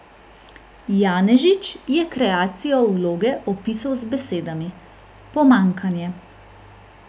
Janežič je kreacijo vloge opisal z besedami: "Pomanjkanje.